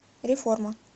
реформа